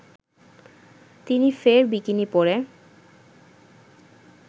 তিনি ফের বিকিনি পরে